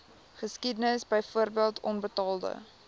geskiedenis byvoorbeeld onbetaalde